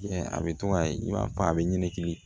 a bɛ to ka i b'a fɔ a bɛ ɲɛnɛkili